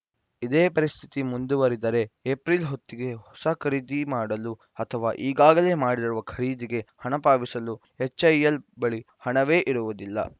ಇದೇ ಪರಿಸ್ಥಿತಿ ಮುಂದುವರಿದರೆ ಏಪ್ರಿಲ್‌ ಹೊತ್ತಿಗೆ ಹೊಸ ಖರೀದಿ ಮಾಡಲು ಅಥವಾ ಈಗಾಗಲೇ ಮಾಡಿರುವ ಖರೀದಿಗೆ ಹಣ ಪಾವತಿಸಲು ಎಚ್‌ಎಎಲ್‌ ಬಳಿ ಹಣವೇ ಇರುವುದಿಲ್ಲ